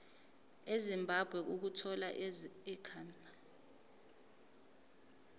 ezimbabwe ukuthola ikhambi